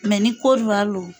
ni Kodiwari lo